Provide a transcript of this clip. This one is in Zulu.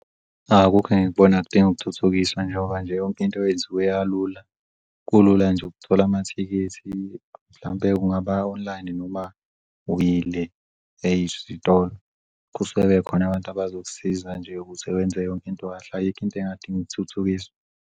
Cha, akukho engikubona kudingu'kuthuthukiswa njengoba nje yonke into yenziwe yalula. Kulula nje ukuthola amathikithi mhlampe kungaba online noma uyile ezisitolo kusele khona'bantu abazokusiza nje ukuze wenze yonke into kahle. Ayikho into engadinga ukuthuthukiswa.